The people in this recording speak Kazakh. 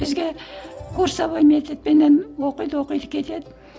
бізге курсовой методпенен оқиды оқиды кетеді